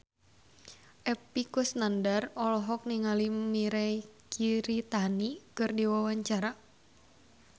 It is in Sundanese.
Epy Kusnandar olohok ningali Mirei Kiritani keur diwawancara